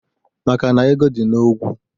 ..maka na ego dị n’ogwu